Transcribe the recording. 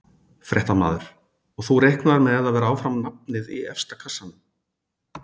Fréttamaður: Og þú reiknar með að vera áfram nafnið í efsta kassanum?